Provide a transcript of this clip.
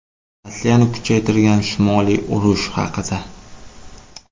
Rossiyani kuchaytirgan Shimoliy urush haqida.